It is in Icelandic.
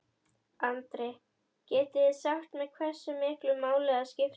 Andri: Getið þið sagt mér hversu miklu máli það skiptir?